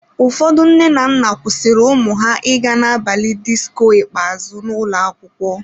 Ụfọdụ nne na nna kwụsịrị ụmụ ha ịga n'abalị disko ikpeazụ n'ụlọ akwụkwọ.